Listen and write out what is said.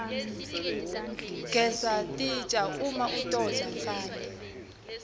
gesa titja uma utodla mfana